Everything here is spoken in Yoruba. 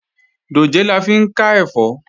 Dòjé la fi ń ká ẹ̀fọ́